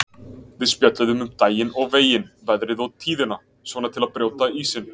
Við spjöllum um daginn og veginn, veðrið og tíðina, svona til að brjóta ísinn.